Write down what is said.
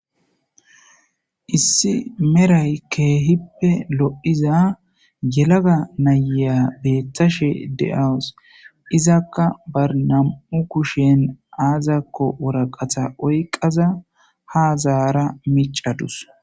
Issi meray keehippe lo'iza yelaga nayya beeththashe de'awus izakka barnam'u kushen aazakko woraqatha oyqaza ha zaara micadus